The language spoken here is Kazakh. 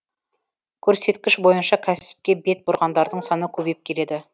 көрсеткіш бойынша кәсіпке бет бұрғандардың саны көбейіп келеді